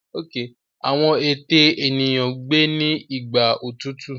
Àwọn ète eniyan gbé ní Igbà òtútù.